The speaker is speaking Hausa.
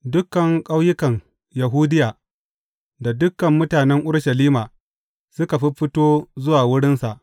Dukan ƙauyukan Yahudiya da dukan mutanen Urushalima suka fiffito zuwa wurinsa.